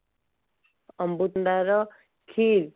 ଅମୃତଭଣ୍ଡାର କ୍ଷୀର